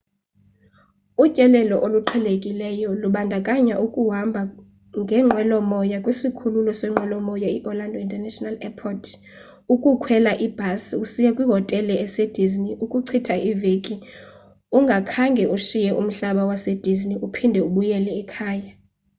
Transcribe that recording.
utyelelo oluqhelekileyo lubandakanya ukuhamba ngenqwelomoya kwisikhululo seenqwelomoya iorlando international airport ukukhwela ibhasi usiya kwihotele esedisney ukuchitha iveki ungakhange ushiye umhlaba wasedisney uphinde ubuyele ekhaya